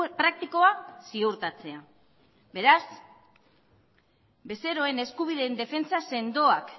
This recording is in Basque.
praktikoa ziurtatzea beraz bezeroen eskubideen defentsa sendoak